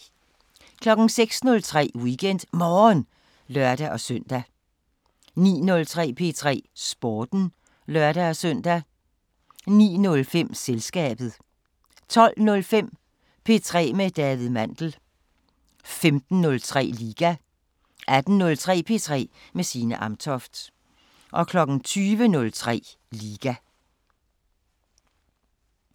06:03: WeekendMorgen (lør-søn) 09:03: P3 Sporten (lør-søn) 09:05: Selskabet 12:05: P3 med David Mandel 15:03: Liga 18:03: P3 med Signe Amtoft 20:03: Liga